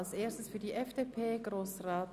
Zuerst hat Grossrat Grivel für die FDP das Wort.